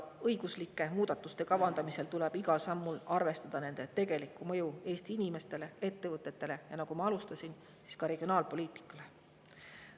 Õiguslike muudatuste kavandamisel tuleb igal sammul arvestada nende tegelikku mõju Eesti inimestele, ettevõtetele ja, nagu ma alustasin, ka regionaalpoliitikale.